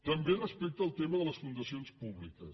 també respecte al tema de les fundacions públiques